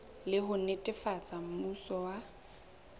le ho netefatsa mmuso wa